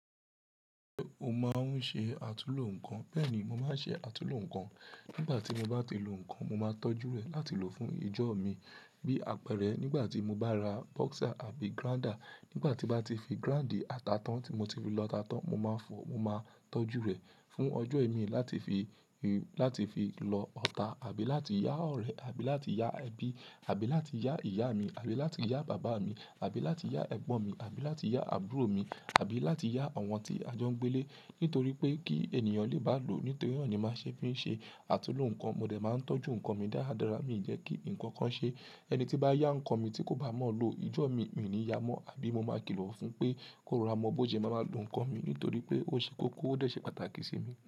Ṣé o máa ń ṣe àtulò nǹkan? Bẹ́ẹ̀ni, mo máa ń ṣe àtulò nǹkan. Nígbà tí mo bá ti lo nǹkan, mo máa tọ́jú rẹ̀ láti lò fún ìjọ mi. Bí àpẹẹrẹ, nígbà tí mo bá ra boxer àbí grinder, nígbà tí bá ti fi grind ìta tán tí mo ti fi lọta tán, mo máa fọ, mo máa tọ́jú rẹ̀ fún ọjọ́ ìmi láti fi, láti fi lọ ata àbí láti yá ọ̀rẹ́, àbí láti yá ẹbí, àbí láti yá ìyá mi, àbí láti yá bàbá mi, àbí láti yá ẹ̀gbọ́n mi, àbí láti yá àbúrò mi, àbí láti yá àwọn tí a jọ ń gbé ilé Nítorí pé kí ènìyàn lè bá lò ó. Nítorí náà ni máa ń ṣe fi ṣe àtulò nǹkan. Mo dẹ̀ máa ń tọ́jú nǹkan mi dáradára. Mi ò jẹ́ kí nǹkan kan ṣe. Ẹni tí bá yá nǹkan mi tí kò bá mọ́ lo, ijọ́ mi, mí ò ní yá mọ́, àbí mo máa kìlọ̀ fún pé kó lọ ra ọmọ bọ́ jẹ, mo máa lo nǹkan mi nítorí pé ó ṣe kókó, ó dẹ̀ ṣe pàtàkì sí mi.